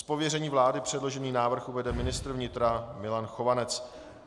Z pověření vlády předložený návrh uvede ministr vnitra Milan Chovanec.